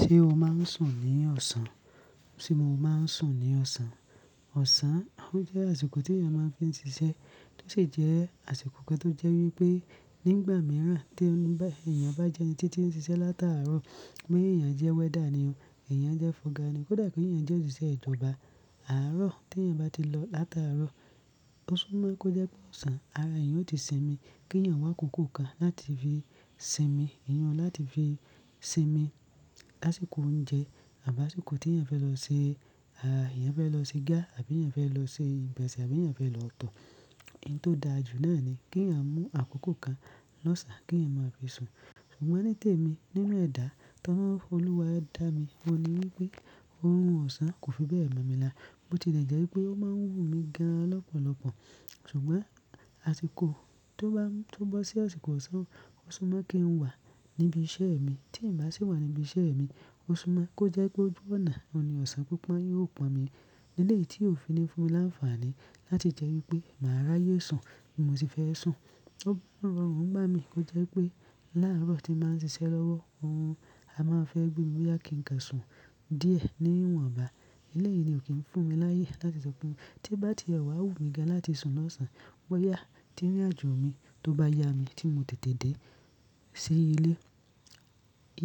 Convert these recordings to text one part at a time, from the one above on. Ṣé o máa ń sùn ní ọ̀sán? Ṣé mo máa ń sùn ní ọ̀sán? Ọ̀sán o jẹ́ àsìkò tí ènìyàn máa ń fi ń ṣiṣẹ́, tó sì jẹ́ àsìkò kan tó jẹ́ wípé nígbà míràn tí ènìyàn bá jẹ́ ẹni tí tí ń ṣiṣẹ́ lataarọ̀, bí ènìyàn jẹ́ welder ni, ènìyàn jẹ́ fọga ni, kódà kí ènìyàn jẹ́ òṣìṣẹ́ ìjọba. Àárọ̀ tí èyàn bá ti lọ lataarọ̀, tó sú mọ́ kó jẹ́ pé ọ̀sán, ara èyàn ò ti sinmi kí èyàn wá kòkò kan láti fi sinmi, iyun láti fi sinmi lásìkò oúnjẹ àbí àsìkò tí èyàn fẹ́ lọ se, à, èyàn fẹ́ lọ se igá àbí ènìyàn fẹ́ lọ ṣe ìgbáǹsẹ àbí ènìyàn fẹ́ lọ tọ̀. Ohun tó da jù náà ni kí èyàn mú àkókò kan lọ́sàn án kí èyàn máa fi sùn. Ṣùgbọ́n nítèmi nínú ẹ̀dá ti ọlọrun, Olúwa dá mi, oun ní wípé ohun ọ̀sán kò fi bẹ́ẹ̀ mọ̀ mi lá. Bo ti lè jẹ́ wípé ó máa ń wù mí gan lọ́pọ̀lọpọ̀. Ṣùgbọ́n àsìkò tó bá, tó bọ́ sí àsìkò ọ̀sán, ó sú mọ́ kí n wà níbi iṣẹ́ mi. Tí n bá sì wà níbi iṣẹ́ mi, ó sú mọ́ kó jẹ́ pé ojú ọ̀nà, oun ní ọ̀sán pipọn yóò pọn mi. Eléyìí tí ò fi ní fúnmi láǹfààní láti jẹ́ wípé màá rí ayé sùn bí mo ṣe fẹ́ sùn. Ó ń rọrùn ngbá mi kó jẹ́ wipé láàárọ̀ tí bàá ń ṣiṣẹ́ lọ́wọ́, òrun a máa fẹ́ gbé mi boya kí n ka sùn díẹ̀ ní ìwọn ọba. Eléyìí ni ò kí ń fún mi láyé láti sọ pé tí bá ti ẹ̀wà wù mí gan láti sùn lọ́sàn án, boyà tí irin àjò mi tó bá yá mi tí mo tètè dé sí ilé.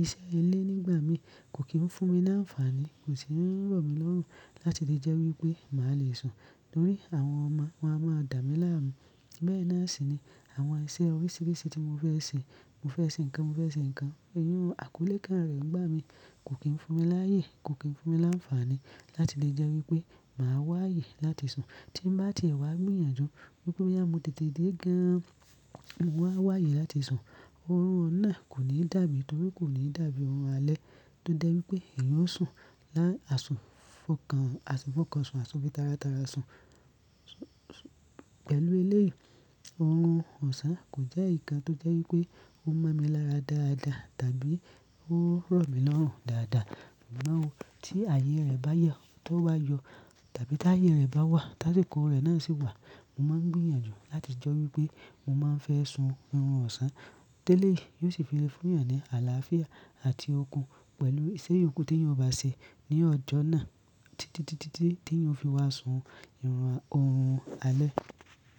Iṣẹ́ ilé nígbà mí kò kí ń fún mi láǹfààní, kò sì ń rọ̀ mí lọ́rùn láti lè jẹ́ wípé màá le sùn. Nítorí àwọn ọmọ wáa máa dà mí láàmú. Bẹ́ẹ̀ náà sì ni àwọn iṣẹ́ oríṣiríṣi tí mo fẹ́ ṣe, mo fẹ́ ṣe nǹkan, mo fẹ́ ṣe nǹkan, irun àkọ́lé kan rẹ̀ nígbà mi kò kí ń fún mi láyé, kò kí ń fún mi láǹfààní láti lè jẹ́ wípé màá wáyé láti sùn. Tí n bá ti ẹ̀wà gbìyànjú wípé oyá mo tètè dé gan, mo wá wáyé láti sùn. Òórùn ọ̀nà kò ní dàbí, torí kò ní dàbí ohun alẹ́ tó jẹ́ wípé èèyàn osùn ni àsùn fọkàn, àsìkò fọkàn sùn, àsun fí tara tara sùn. Pẹ̀lú eléyìí, orun ọ̀sán kò jẹ́ ìkan tó jẹ́ wípé ó mọ́ mi lára dáadáa tàbí ó rọ̀ mí lọ́rùn dáadáa. Ṣùgbọ́n tí ààyè rẹ̀ bá yọ, tó wá yọ tàbí tí ààyè rẹ̀ bá wà, ti asìkó rẹ̀ náà sì wà, mo máa ń gbìyànjú láti jẹ́ wípé mo máa fẹ́ sùn irun ọ̀sán. Tẹ́lé yìí yóò sì fi lè fún èèyàn ní àlàáfíà àti okun pẹ̀lú iṣẹ́ ìyókù tí èèyàn bá ṣe ní ọjọ́ náà tí, tí, tí, tí, tí èèyàn fi wá sùn irun, orun alẹ́.